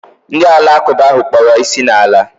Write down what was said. Ndị alakụba ahụ kpọrọ isi n'ala